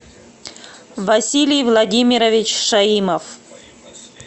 василий владимирович шаимов